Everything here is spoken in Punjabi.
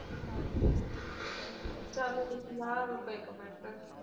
ਚੱਲ ਲਿਖਲਾ ਰੁਕ ਇੱਕ ਮਿੰਟ